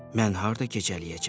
Mən harda gecələyəcəm?